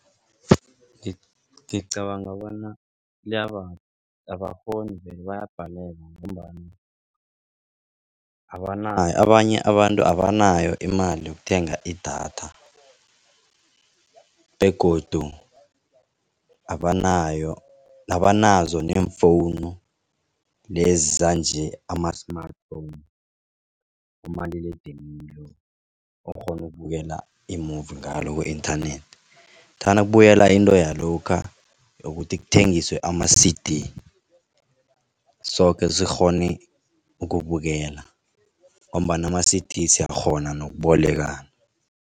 Ngicabanga bona abakghoni vele bayabhalelwa ngombana abanayo abanye abantu abanayo imali yokuthenga idatha begodu abanayo abanazo neemfowunu lezi sanje ama-smartphone umaliledinini okghona ukubukela i-movie ngalo ku-internet. Thana kubuyela into yalokha yokuthi kuthengiswe ama-C_D soke zikghone ukubukela ngombana ama-C_D siyakghona nokubolekana.